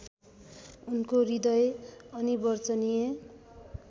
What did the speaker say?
उनको हृदय अनिवर्चनीय